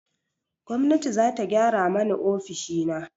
Gwamnati za ta gyara mani ofishina.